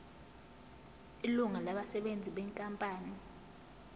ilungu labasebenzi benkampani